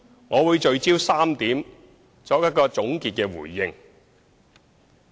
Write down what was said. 我會聚焦於3點，作一個總結的回應。